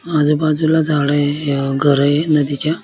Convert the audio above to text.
आजुबाजुला झाडे आहे घर ये नदीच्या--